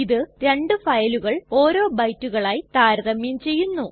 ഇത് രണ്ടു ഫയലുകൾ ഓരോ ബൈറ്റുകളായി താരതമ്യം ചെയ്യുന്നു